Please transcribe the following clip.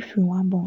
if you wan born